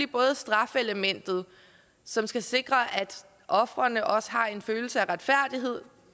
både strafelementet som skal sikre at ofrene også har en følelse af retfærdighed